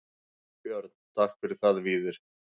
Björn: Takk fyrir það Víðir.